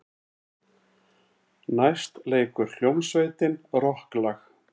Næst leikur hljómsveitin rokklag.